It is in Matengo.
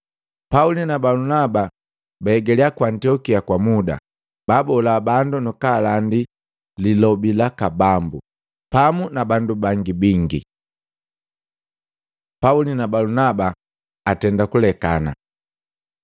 Pauli na Balunaba baigalia ku Antiokia kwa muda, baabola bandu nukulandi Lilobi laka Bambu, pamu na bandu bangi bingi. Pauli na Balunaba atenda kulekana